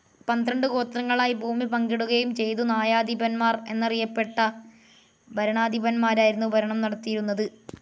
പന്ത്രണ്ടു ഗോത്രങ്ങളായി ഭൂമി പങ്കിടുകയും ചെയ്തു ന്യായാധിപൻമാർ എന്നറിയറിയപ്പെട്ട ഭരണാധിപൻമാരായിരുന്നു ഭരണം നടത്തിയിരുന്നത്.